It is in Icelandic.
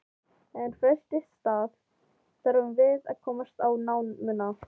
En fyrst í stað þurfum við að komast í námuna.